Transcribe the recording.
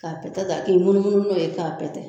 Ka pɛtɛta a k'i munumunu no ye ka pɛtɛ.